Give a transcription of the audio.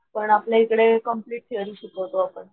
पण आपल्या इकडे कंप्लेंट थेरी शिकवतो आपण.